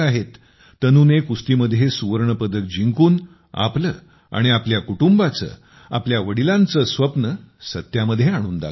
तनूने कुस्तीमध्ये सुवर्णपदक जिंकून आपलं आणि आपल्या कुटुंबाचं आपल्या वडिलांचं स्वप्न सत्यामध्ये आणून दाखवलं